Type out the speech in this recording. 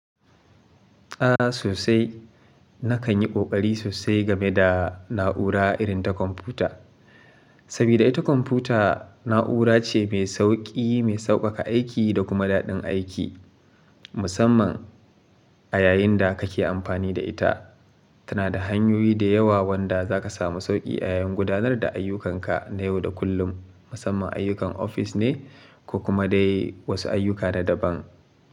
A sosai, na kan yi ƙoƙari sosai game da na'ura irin ta kwamfuta, Sabida ita kwamfuta na'ura ce mai sauƙi, mai sauƙaƙa aiki da kuma daɗin aiki. Musamman a yayin da kake amfani da ita. Tana da hanyoyi da yawa wanda za ka samu sauƙi a yayin gudanar da ayyukanka na yau da kullum. Musamman ayyukan ofis ne, ko kuma dai wasu ayyuka na daban.